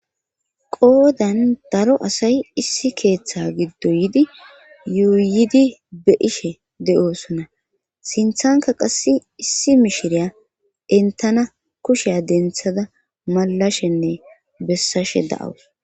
qoodan daro asay issi keeththa giddo yidi yuuyidi be'ishe de'osona sinthanka qass issi mishiriya entana kusheya denthada malashenne bessashe da'awus